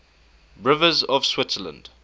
rivers of switzerland